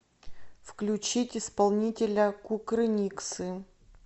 включить исполнителя кукрыниксы